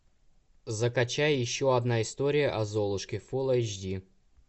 закачай еще одна история о золушке фул эйч ди